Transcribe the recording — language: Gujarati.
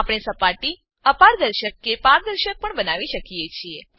આપણે સપાટી અપારદર્શક કે પારદર્શક પણ બનાવી શકીએ છીએ